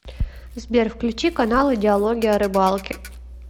сбер включи каналы диалоги о рыбалке